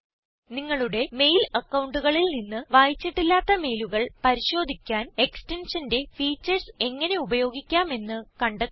നിങ്ങളുടെ മെയിൽ അക്കൌണ്ടുകളിൽ നിന്ന് വായിച്ചിട്ടില്ലാത്ത മെയിലുകൾ പരിശോധിക്കാൻ എക്സ്റ്റൻഷന്റെ ഫീച്ചർസ് എങ്ങനെ ഉപയോഗിക്കാമെന്ന് കണ്ടെത്തുക